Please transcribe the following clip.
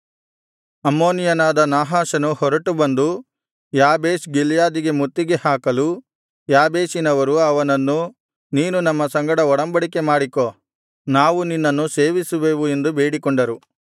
ಅಮ್ಮೋನಿಯನಾದ ನಾಹಾಷನು ಹೊರಟು ಬಂದು ಯಾಬೇಷ್ ಗಿಲ್ಯಾದಿಗೆ ಮುತ್ತಿಗೆ ಹಾಕಲು ಯಾಬೇಷಿನವರು ಅವನನ್ನು ನೀನು ನಮ್ಮ ಸಂಗಡ ಒಡಂಬಡಿಕೆ ಮಾಡಿಕೋ ನಾವು ನಿನ್ನನ್ನು ಸೇವಿಸುವೆವು ಎಂದು ಬೇಡಿಕೊಂಡರು